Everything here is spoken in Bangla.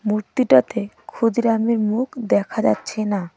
মূর্তিটাতে ক্ষুদিরামের মুখ দেখা যাচ্ছে না।